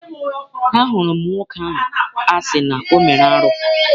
Ahụrụ m nwoke ahụ a sị na ọ mere arụ.